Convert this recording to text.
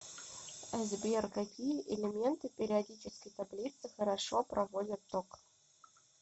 сбер какие элементы периодической таблицы хорошо проводят ток